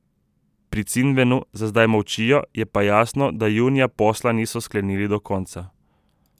Pri Cinvenu za zdaj molčijo, je pa jasno, da junija posla niso sklenili do konca.